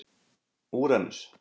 Úranus